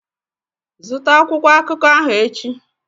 Zụta akwụkwọ akụkọ ahụ echi!